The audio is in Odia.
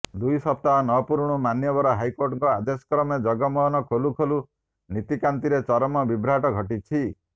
ଦୁଇ ସପ୍ତାହ ନ ପୂରୁଣୁ ମାନ୍ୟବର ହାଇକୋର୍ଟଙ୍କ ଆଦେଶ କ୍ରମେ ଜଗମୋହନ ଖୋଲୁ ଖୋଲୁ ନୀତିକାନ୍ତିରେ ଚରମ ବିଭ୍ରାଟ ଘଟିଛି